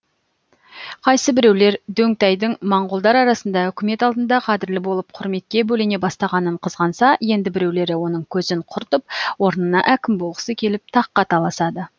қайсы біреулер дөңтайдың монғолдар арасында үкімет алдында қадірлі болып құрметке бөлене бастағанын қызғанса енді біреулері оның көзін құртып орнына әкім болғысы келіп таққа таласады